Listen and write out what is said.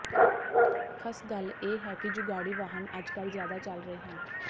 ਖਸ ਗੱਲ ਇਹ ਹੈ ਕਿ ਜੁਗਾੜੀ ਵਾਹਨ ਅੱਜਕੱਲ੍ਹ ਜ਼ਿਆਦਾ ਚੱਲ ਰਹੇ ਹਨ